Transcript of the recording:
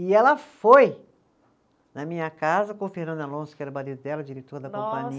E ela foi na minha casa com o Fernando Alonso, que era o marido dela, diretor da